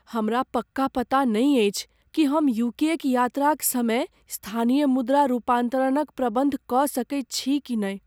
हमरा पक्का पता नहि अछि कि हम यू के क यात्राक समय स्थानीय मुद्रा रूपान्तरणक प्रबन्ध कऽ सकैत छी कि नहि।